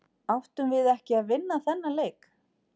Áttum við ekki að vinna þennan leik?